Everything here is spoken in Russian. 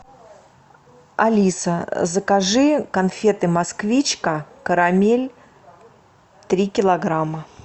алиса закажи конфеты москвичка карамель три килограмма